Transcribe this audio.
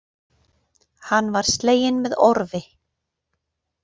Hann var sleginn með orfi.